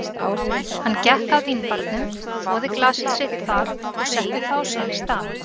Hann gekk að vínbarnum, þvoði glasið sitt þar og setti það á sinn stað.